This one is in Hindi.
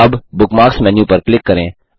अब बुकमार्क्स मेन्यू पर क्लिक करें